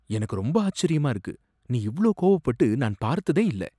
எனக்கு ரொம்ப ஆச்சரியமா இருக்கு, நீ இவ்ளோ கோவப்பட்டு நான் பார்த்ததே இல்ல.